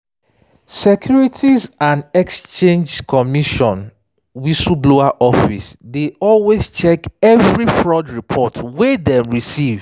securities and exchange and exchange commission whistleblower office dey carefully check every fraud report wey dem receive